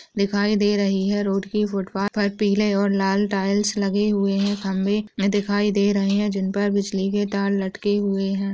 दिखाई दे रही हैं रोड की फुटपाथ पर पिले और लाल टाइल्स लगे हुए हैं खम्बे भी दिखाई दे रहे हैं जिनपर बिजली के तार लटके हुए हैं।